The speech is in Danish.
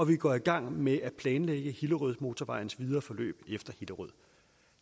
vi går i gang med at planlægge hillerødmotorvejens videre forløb efter hillerød